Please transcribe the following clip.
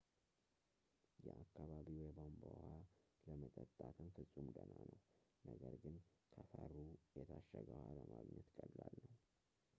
የአካባቢው የቧንቧ ውሃ ለመጠጣት ፍጹም ደህና ነው ነገር ግን ከፈሩ የታሸገ ውሃ ለማግኘት ቀላል ነው